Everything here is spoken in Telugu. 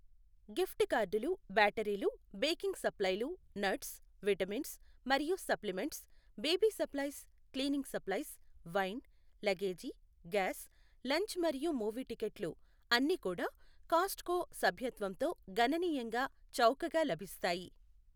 గిఫ్ట్ కార్డులు, బ్యాటరీలు, బేకింగ్ సప్లైలు, నట్స్, విటమిన్స్ మరియు supplements, baby supplies, cleaning supplies, wine, luggage, gas, lunch మరియు మూవీ టిక్కెట్లు అన్నీ కూడా కాస్ట్కో సభ్యత్వంతో గణనీయంగా చౌకగా లభిస్తాయి.